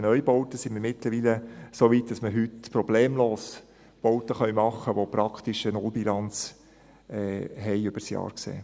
Bei den Neubauten sind wir mittlerweile so weit, dass wir heute problemlos Bauten erstellen können, die praktisch eine Nullbilanz haben über das Jahr gesehen.